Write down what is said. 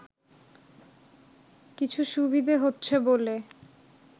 কিছু সুবিধে হচ্ছে বলে